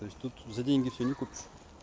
то есть тут за деньги всё не купишь